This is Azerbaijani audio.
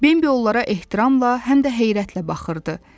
Bembi onlara ehtiramla, həm də heyrətlə baxırdı.